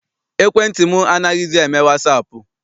Ekwentị m anaghịzi eme wasaapụ.